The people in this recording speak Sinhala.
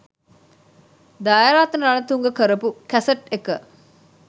දයාරත්න රණතුංග කරපු කැසට් එක.